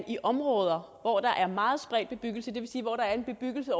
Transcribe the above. i områder hvor der er en meget spredt bebyggelse det vil sige hvor der er en bebyggelse